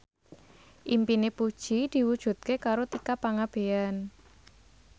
impine Puji diwujudke karo Tika Pangabean